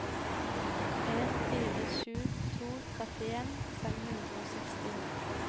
en fire sju to trettien fem hundre og seksti